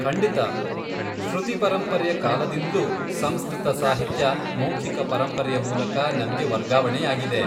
ಖಂಡಿತ! ಶ್ರುತಿ ಪರಂಪರೆಯ ಕಾಲದಿಂದ್ಲೂ ಸಂಸ್ಕೃತ ಸಾಹಿತ್ಯ ಮೌಖಿಕ ಪರಂಪರೆಯ ಮೂಲಕ ನಮ್ಗೆ ವರ್ಗಾವಣೆಯಾಗಿದೆ.